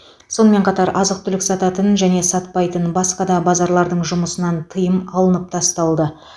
сонымен қатар азық түлік сататын және сатпайтын басқа да базарлардың жұмысынан тыйым алынып тасталды